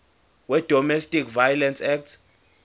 wedomestic violence act